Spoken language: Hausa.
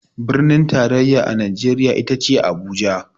Birnin tarayya a Najeriya ita ce Abuja.